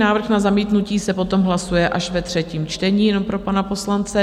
Návrh na zamítnutí se potom hlasuje až ve třetím čtení, jenom pro pana poslance.